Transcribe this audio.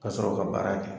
Ka sɔrɔ ka baara kɛ